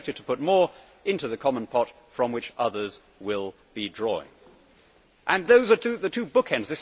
We are expected to put more into the common pot from which others will be drawing and those are the two bookends.